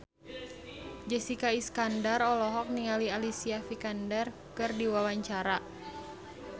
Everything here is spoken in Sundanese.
Jessica Iskandar olohok ningali Alicia Vikander keur diwawancara